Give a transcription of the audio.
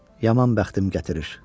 Yaman bəxtim gətirir.